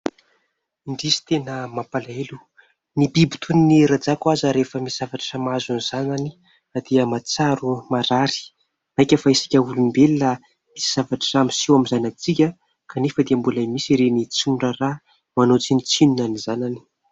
Indrisy, tena mampalahelo ny biby toy ny rajako aza rehefa misy zavatra mahazo ny zanany dia mahatsiaro marary, maika fa isika olombelona misy zavatra miseho amin'ny zanantsika, kanefa dia mbola misy reny tsy miraharaha manao tsinontsinona ny zanany.